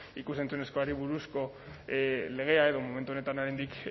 ikus entzunezkoari buruzko legea edo momentu honetan oraindik